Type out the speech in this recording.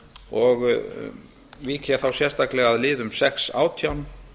og vík ég þá sérstaklega að liðum sex átján